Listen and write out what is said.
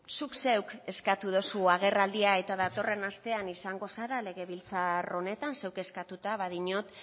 zuk zeuk eskatu dozu agerraldia eta datorren astean izango zara legebiltzar honetan zuk eskatuta badiot